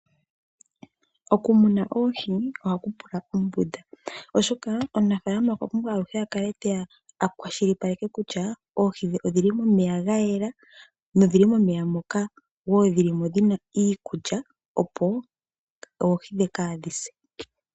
Okumuna oohi ohaku pula ombunda, oshoka omunafaalama okwa pumbwa aluhe a kale te ya a kwashilipaleke kutya oohi dhe odhi li momeya ga yela nodhi li momeya moka wo dhi li mo dhi na iikulya, opo oohi dhe ka dhi se.